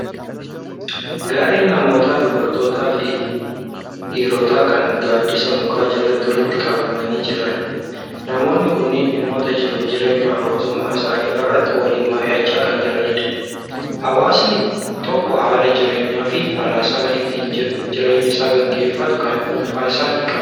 Garee namootaa dubartootaa fi dhiirotaa kan gaaddisa mukaa jalatti walitti qabamanii jiran. Namoonni kunneen dhimmoota jiruuf jireenya hawaasummaa isaanii irratti waliin mari'achaa kan jiranidha. Hawaasni tokko haala jireenyaa fi falaasama ittiin jireenya isaa gaggeeffatu kan dhuunfaa isaa ni qaba.